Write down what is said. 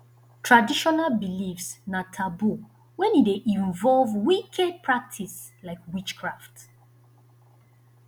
traditional beliefs na taboo when e de involve wicked practice like witchcraft